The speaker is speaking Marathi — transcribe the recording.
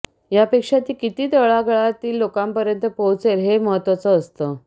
ह्या पेक्षा ती किती तळागळातील लोकांपर्यंत पोहचेल हे महत्वाचं असतं